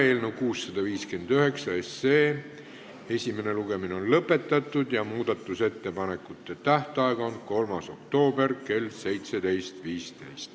Eelnõu 659 esimene lugemine on lõpetatud ja muudatusettepanekute esitamise tähtaeg on 3. oktoober kell 17.15.